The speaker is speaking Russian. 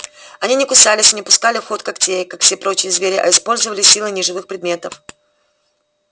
они не кусались и не пускали в ход когтей как все прочие звери а использовали силы неживых предметов